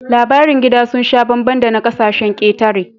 Labarin gida sun sha bambam da na ƙasashen ƙetare